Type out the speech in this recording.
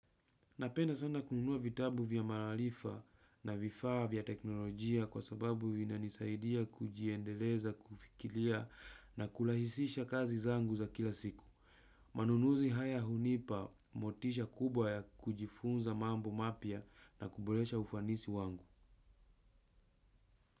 Napenda sana kununua vitabu vya mararifa na vifaa vya teknolojia kwa sababu vina nisaidia kujiendeleza kufikiria na kurahisisha kazi zangu za kila siku. Manunuzi haya hunipa motisha kubwa ya kujifunza mambo mapya na kuboresha ufanisi wangu.